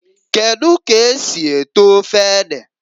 Kedu ka esi eto ofe ede?